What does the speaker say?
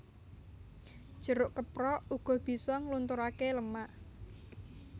Jeruk keprok uga bisa nglunturaké lemak